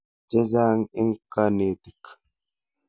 Che chang' eng' kanetik.